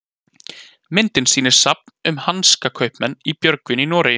myndin sýnir safn um hansakaupmenn í björgvin í noregi